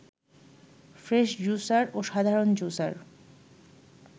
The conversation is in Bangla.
ফ্রেশ জুসার ও সাধারণ জুসার